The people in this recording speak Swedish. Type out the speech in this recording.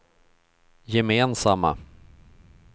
gemensamma